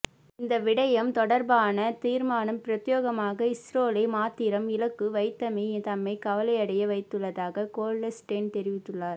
இந்த விடயம் தொடர்பான தீர்மானம் பிரத்தியேகமாக இஸ்ரேலை மாத்திரம் இலக்கு வைத்தமை தம்மைக் கவலையடைய வைத்துள்ளதாக கோல்ட்ஸ்டோன் தெரிவித்துள்ளார்